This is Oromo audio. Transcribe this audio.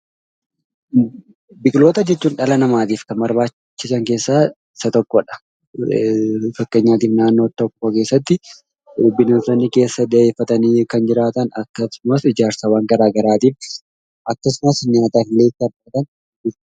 Biqiloota jechuun dhala namaatif kan barbaachisan keessa isa tokkodha. Fakkeenyaaf naannoo tokko keessatti bineensonni boqotanii keessa kan jiraatan akksumas ijaarsa gara garaatiif akksumallee nyaataaf.